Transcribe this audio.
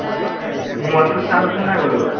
mobile টোত charge আছে নাই বোলো?